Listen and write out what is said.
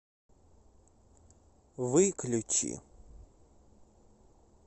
выключи